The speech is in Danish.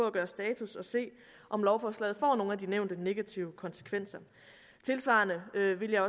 at gøre status og se om lovforslaget får nogle af de nævnte negative konsekvenser tilsvarende ville